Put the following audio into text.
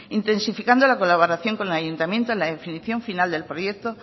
intensificando la colaboración con el ayuntamiento la definición final del proyecto